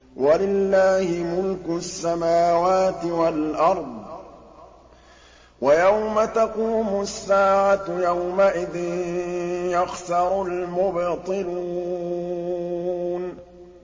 وَلِلَّهِ مُلْكُ السَّمَاوَاتِ وَالْأَرْضِ ۚ وَيَوْمَ تَقُومُ السَّاعَةُ يَوْمَئِذٍ يَخْسَرُ الْمُبْطِلُونَ